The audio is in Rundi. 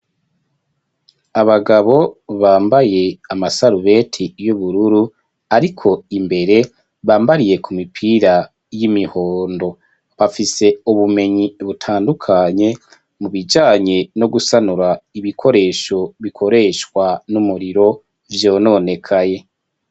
Abagabo bambaye amasarubeti y'ubururu ariko imbere bambariye ku mipira y'imihondo. Bafise ubumenyi butandukanye mu bijanye no gusanura ibikoresho bikoreshwa n'umuriro vyononekaye.